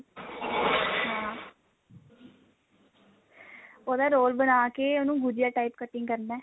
ਉਹਦਾ ਰੋਲ ਬਣਾ ਕੇ ਉਹਨੂੰ ਗੁਝੀਆ type cutting ਕਰਨਾ